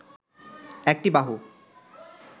একটি বাহু